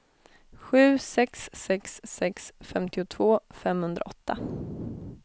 sju sex sex sex femtiotvå femhundraåtta